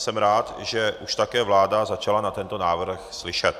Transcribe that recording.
Jsem rád, že už také vláda začala na tento návrh slyšet.